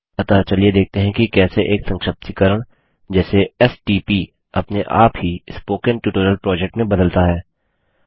अतः चलिए देखते हैं कि कैसे एक संक्षिप्तीकरण जैसे एसटीपी अपने आप ही स्पोकेन ट्यूटोरियल प्रोजेक्ट में बदलता है